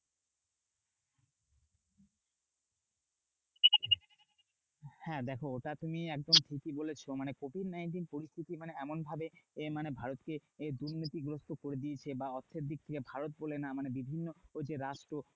হ্যাঁ দেখো ওটা তুমি একদম ঠিকই বলেছো। মানে covid nineteen পরিস্থিতি মানে এমনভাবে এ মানে ভারতকে দুর্নীতিগ্রস্থ করে দিয়েছে বা অর্থের দিক থেকে ভারত বলে না। মানে বিভিন্ন যে রাষ্ট্র